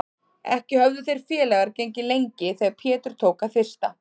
Ekki höfðu þeir félagar gengið lengi þegar Pétur tók að þyrsta.